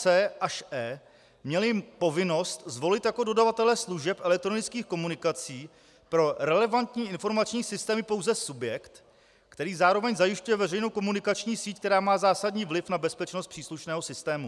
c) až e) měly povinnost zvolit jako dodavatele služeb elektronických komunikací pro relevantní informační systémy pouze subjekt, který zároveň zajišťuje veřejnou komunikacní síť, která má zásadní vliv na bezpečnost příslušného systému.